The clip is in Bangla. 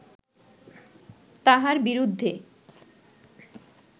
তাঁহার বিরুদ্ধে